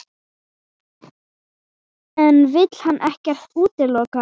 En vill hann ekkert útiloka?